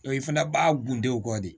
O i fana b'a gundew kɔ de